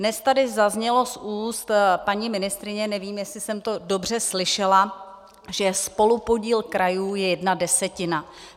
Dnes tady zaznělo z úst paní ministryně, nevím, jestli jsem to dobře slyšela, že spolupodíl krajů je jedna desetina.